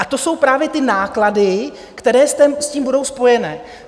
A to jsou právě ty náklady, které s tím budou spojené.